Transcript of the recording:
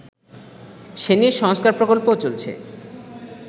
সে নিয়ে সংস্কার প্রকল্পও চলছে